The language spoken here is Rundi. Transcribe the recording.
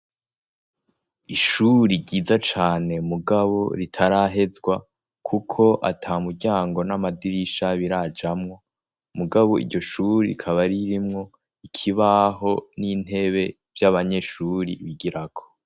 Ishure ryiza cane mugabo ritarahezwa kuko ata muryango n'amadirisha birajamwo, mugabo iryo shure rikaba ririmwo ikibaho n'intebe vy'abanyeshure bigirako.